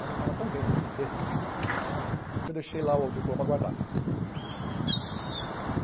Mas eu estava tão bem na cê ê tê, que eu deixei lá o diploma guardado.